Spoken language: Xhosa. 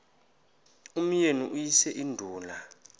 umyeni uyise iduna